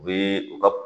U bɛ u ka